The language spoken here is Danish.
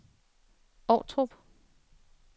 Ovtrup